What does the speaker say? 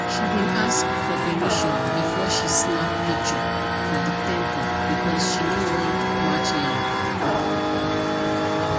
she been ask for permission before she snap picture for the temple because she no wan match line